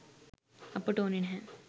අපට ඕන නැහැ.